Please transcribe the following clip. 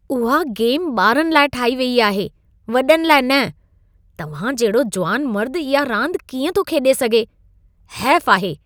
उहा गेम ॿारनि लाइ ठाही वई आहे। वॾनि लाइ न! तव्हां जहिड़ो जुवान मर्द इहा रांदि कीअं थो खेॾे सघे? हैफ आहे!